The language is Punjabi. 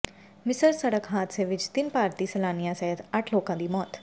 ਮਿਸਰ ਸੜਕ ਹਾਦਸੇ ਵਿਚ ਤਿੰਨ ਭਾਰਤੀ ਸੈਲਾਨੀਆਂ ਸਹਿਤ ਅੱਠ ਲੋਕਾਂ ਦੀ ਮੌਤ